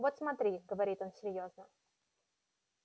вот смотри говорит он серьёзно